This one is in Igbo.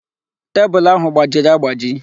Tebụl ahụ gbajiri agbaji.